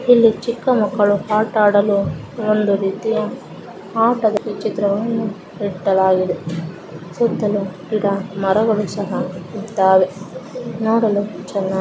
ಈ ಚಿಕ್ಕ ಮಕ್ಕಳು ಆಟ ಆಡಲು ಒಂದು ರೀತಿಯ ಆಟದ ಈ ಚಿತ್ರವನ್ನು ತಿಳಿಸಲಾಗಿದೆ ಇಲ್ಲಿ ಮರಗಳು ಸಹ ಇದ್ದವೇ ನೋಡಲು ತುಂಬಾ ಚೆನ್ನಾಗಿದೆ.